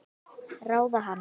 Ráða hana?